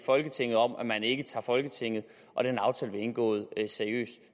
folketinget om at man ikke tager folketinget og den aftale vi har indgået seriøst